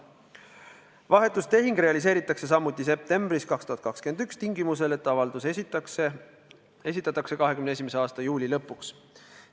Vahetustehing teostatakse samuti septembris 2021, kui avaldus esitatakse 2021. aasta juuli lõpuks.